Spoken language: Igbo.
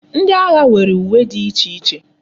Ndi agha nwere uwe di iche iche